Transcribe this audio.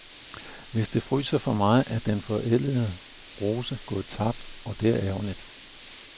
Hvis det fryser for meget, er den forædlede rose gået tabt, og det er ærgerligt.